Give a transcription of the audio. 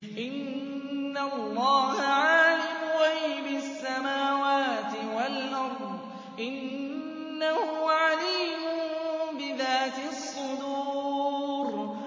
إِنَّ اللَّهَ عَالِمُ غَيْبِ السَّمَاوَاتِ وَالْأَرْضِ ۚ إِنَّهُ عَلِيمٌ بِذَاتِ الصُّدُورِ